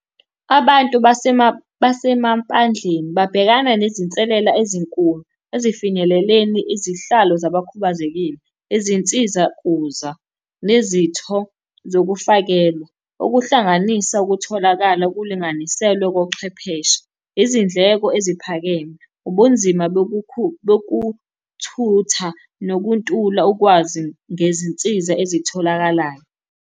Abantu basemampandleni babhekana nezinselela ezinkulu, ezifinyeleleni izihlalo zabakhubazekile, izinsiza kuza, nezitho zokufakelwa. Okuhlanganisa ukutholakala okulinganiselwe kochwepheshe, izindleko eziphakeme, ubunzima bokuthutha, nokuntula ukwazi ngezinsiza ezitholakalayo.